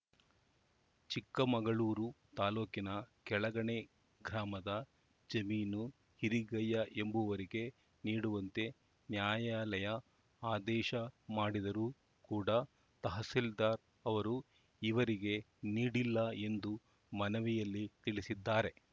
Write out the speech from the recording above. ಚಿಕ್ಕಮಗಳೂರು ತಾಲೂಕಿನ ಕೆಳಗಣೆ ಗ್ರಾಮದ ಜಮೀನು ಹಿರಿಗಯ್ಯ ಎಂಬವರಿಗೆ ನೀಡುವಂತೆ ನ್ಯಾಯಾಲಯ ಆದೇಶ ಮಾಡಿದರೂ ಕೂಡ ತಹಸೀಲ್ದಾರ್‌ ಅವರು ಈವರೆಗೆ ನೀಡಿಲ್ಲ ಎಂದು ಮನವಿಯಲ್ಲಿ ತಿಳಿಸಿದ್ದಾರೆ